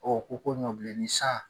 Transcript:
Ɔ , o ko ɲɔbilen ni sa.